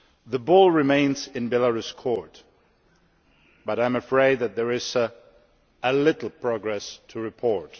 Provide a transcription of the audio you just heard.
The ball remains in Belarus's court, but I am afraid that there is little progress to report.